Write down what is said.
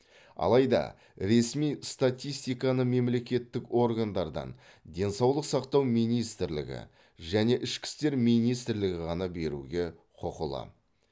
алайда ресми статистиканы мемлекеттік органдардан денсаулық сақтау министрлігі және ішкі істер министрлігі ғана беруге құқылы